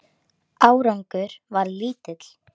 Árangur varð lítill.